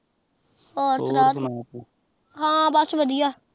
ਹੋਰ ਸੁਨਾ ਤੂ ਹਨ ਬਸ ਵਾਦਿਯ